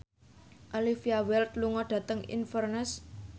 Olivia Wilde lunga dhateng Inverness